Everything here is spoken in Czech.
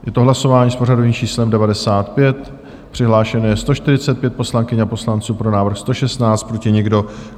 Je to hlasování s pořadovým číslem 95, přihlášeno je 145 poslankyň a poslanců, pro návrh 116, proti nikdo.